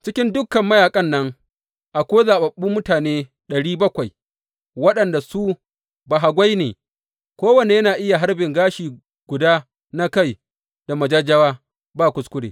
Cikin dukan mayaƙan nan akwai zaɓaɓɓu mutane ɗari bakwai waɗanda su bahagwai ne, kowanne yana iya harbin gashin guda na kai da majajjawa ba kuskure.